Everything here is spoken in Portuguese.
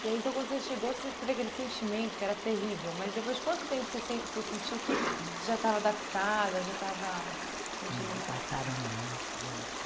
E aí, então, quando você chegou, você teve aquele sentimento que era terrível, mas depois de quanto tempo se sen você sentiu que você já estava adaptada, já estava se sentindo mais... Não, passaram anos, gente.